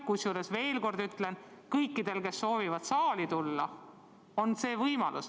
Kusjuures, ma veel kord ütlen: kõikidel, kes soovivad saali tulla, on see võimalus.